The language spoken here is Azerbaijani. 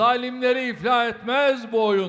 Zalımları iflah etməz bu oyun.